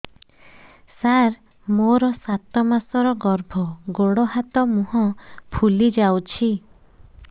ସାର ମୋର ସାତ ମାସର ଗର୍ଭ ଗୋଡ଼ ହାତ ମୁହଁ ଫୁଲି ଯାଉଛି